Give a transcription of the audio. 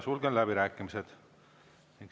Sulgen läbirääkimised.